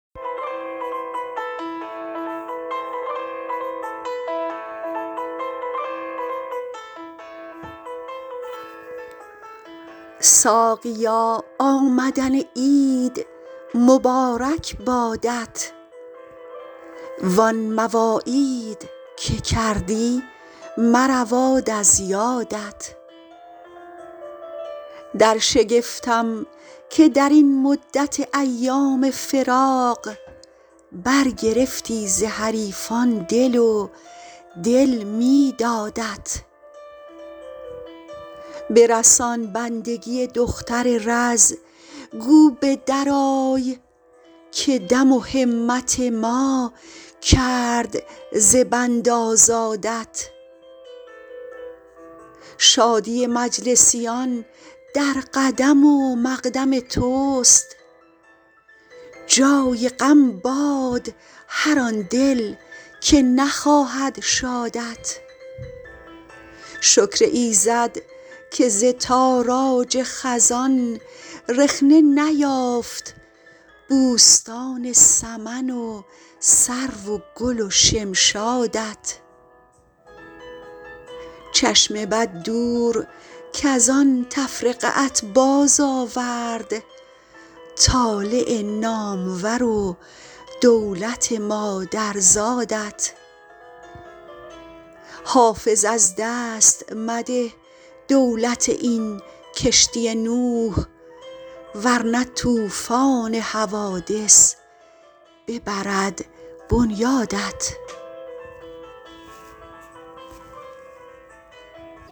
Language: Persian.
ساقیا آمدن عید مبارک بادت وان مواعید که کردی مرود از یادت در شگفتم که در این مدت ایام فراق برگرفتی ز حریفان دل و دل می دادت برسان بندگی دختر رز گو به درآی که دم و همت ما کرد ز بند آزادت شادی مجلسیان در قدم و مقدم توست جای غم باد مر آن دل که نخواهد شادت شکر ایزد که ز تاراج خزان رخنه نیافت بوستان سمن و سرو و گل و شمشادت چشم بد دور کز آن تفرقه ات بازآورد طالع نامور و دولت مادرزادت حافظ از دست مده دولت این کشتی نوح ور نه طوفان حوادث ببرد بنیادت